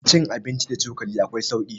cin abinci da cokali akwai sauki